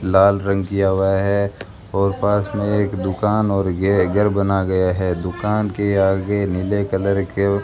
लाल रंग किया हुआ है और पास में एक दुकान और ये घर बना गया है दुकान के आगे नीले कलर के --